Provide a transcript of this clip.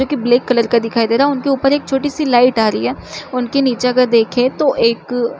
जो की black colour का दिखाई दे रहा है उनके ऊपर एक छोटी-सी लाइट आ रही है उनके नीचे अगर देखे तो एक--